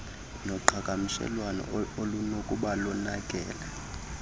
noqhagamshelwano olunokuba lonakele